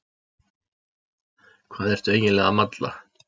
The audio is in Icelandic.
Hvað ertu eiginlega að malla?